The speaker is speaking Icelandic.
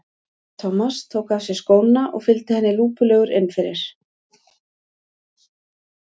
Thomas tók af sér skóna og fylgdi henni lúpulegur inn fyrir.